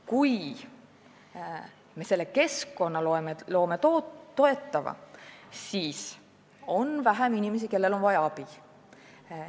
Kui me loome selle toetava keskkonna, siis on vähem inimesi, kellel on abi vaja.